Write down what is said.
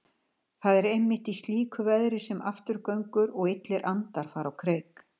Það er einmitt í slíku veðri sem afturgöngur og illir andar fara á kreik.